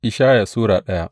Ishaya Sura daya